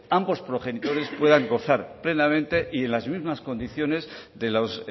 ambos progenitores puedan gozar plenamente y en las mismas condiciones de los